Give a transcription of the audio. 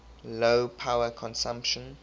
low power consumption